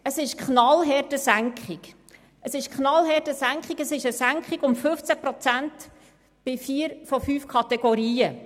Es handelt sich um eine knallharte Senkung, eine Senkung um 15 Prozent bei vier von fünf Kategorien.